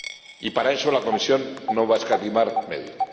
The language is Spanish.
Y para eso la Comisión no va a escatimar medios.